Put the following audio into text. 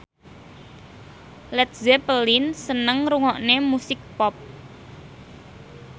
Led Zeppelin seneng ngrungokne musik pop